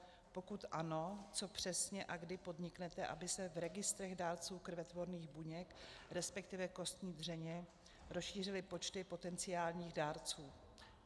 Pokud ano, co přesně a kdy podniknete, aby se v registrech dárců krvetvorných buněk, respektive kostní dřeně, rozšířily počty potenciálních dárců?